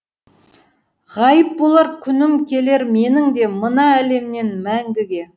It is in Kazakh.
ғайып болар күнім келер менің де мына әлемнен мәңгіге